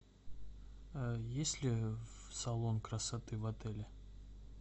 есть ли салон красоты в отеле